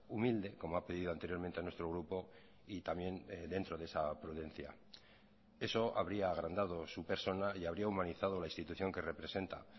humilde como ha pedido anteriormente a nuestro grupo y también dentro de esa prudencia eso habría agrandado su persona y habría humanizado la institución que representa